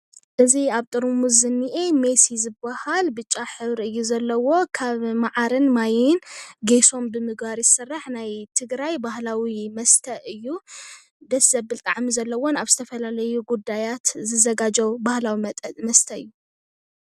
እዚ ኣብ ጥርሙስ ዝኒአ ሜሰ እዩ ዝባሃል ።ብጫ ሕብሪ እዩ ዘለዎ። ካብ መዓርን ማይን ጌሶን ብምግባር እዩ ዝስራሕ። ናይ ትግራይ ባህላዊ መስተ እዩ። ደስ ዘብል ጣዕሚ ዘለዎን ኣብ ዝተፈለለዩ ጉዳያት ዝዘጋጀው ባህላዊ መስተ እዩ።